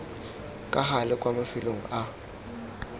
ka gale kwa mafelong a